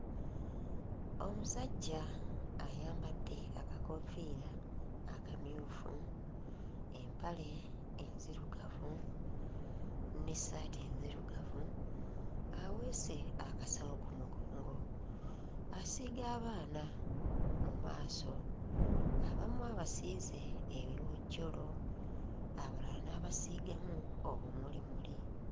Omusajja ayambadde akakoofiira akamyufu, empale enzirugavu n'essaati enzirugavu aweese akasawo ku mugongo asiiga abaana mu maaso, abamu abasiize ebiwojjolo abalala n'abasiigamu obumulimuli.